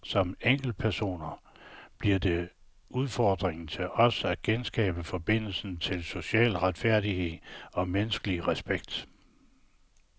Som enkeltpersoner bliver det udfordringen til os at genskabe forbindelsen til social retfærdighed og menneskelig respekt.